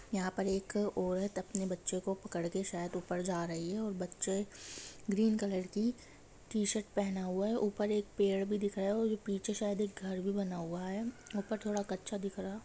यहाँ पर एक औरत अपने बच्चे को पकड़ के शायद ऊपर जा रही है और बच्चे ग्रीन कलर की टीशर्ट पहना हुआ है ऊपर एक पेड़ भी दिख रहा है और पीछे शायद एक घर भी बना हुआ है ऊपर थोडा कच्छा दिख रहा--